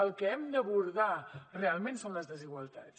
el que hem d’abordar realment són les desigualtats